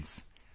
Friends,